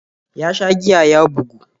Ya sha giya ya bugu